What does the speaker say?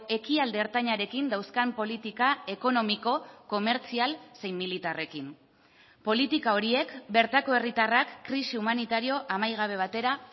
ekialde ertainarekin dauzkan politika ekonomiko komertzial zein militarrekin politika horiek bertako herritarrak krisi humanitario amaigabe batera